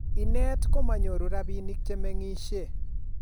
inet ko manyoru rabinik che mengishe